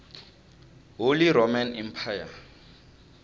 holy roman empire